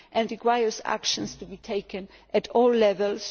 It requires action to be taken at all levels.